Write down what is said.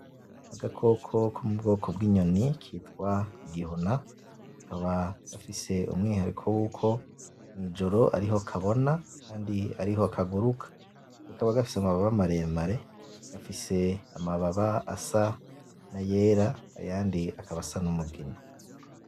Agakoko ko mu bwoko bw'inyoni kitwa igihuna, kakaba gafise umwihariko wuko mw'ijoro ariho kabona kandi ariho kaguruka, kakaba gafise amababa maremare, gafise amababa asa n'ayera; ayandi akaba asa n'umugina.